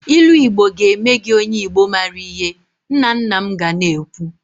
Ilu Igbo ga eme gi onye igbo maara ihe nna nna m ga na-ekwu.